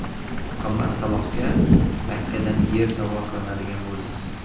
Muhammad Salohga Makkadan yer sovg‘a qilinadigan bo‘ldi.